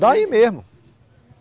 Daí mesmo.